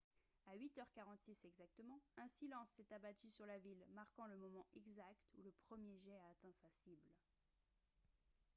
à 8 h 46 exactement un silence s'est abattu sur la ville marquant le moment exact où le premier jet a atteint sa cible